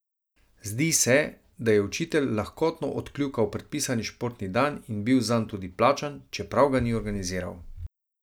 Zdi se, da je učitelj lahkotno odkljukal predpisani športni dan in bil zanj tudi plačan, čeprav ga ni organiziral.